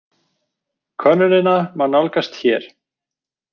Könnunina má nálgast hér